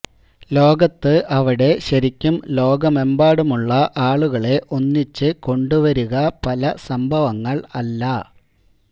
ലോകത്ത് അവിടെ ശരിക്കും ലോകമെമ്പാടുമുള്ള ആളുകളെ ഒന്നിച്ച് കൊണ്ടുവരുക പല സംഭവങ്ങൾ അല്ല